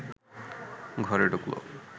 ঘরে ঢুকল